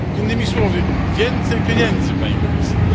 Innymi słowy więcej pieniędzy, Pani Komisarz.